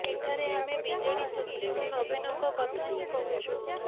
ଏଠାରେ ଆମେ BJD supremo ନବୀନଙ୍କ କଥା ହିଁ କହୁଛୁ